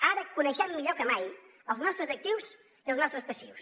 ara coneixem millor que mai els nostres actius i els nostres passius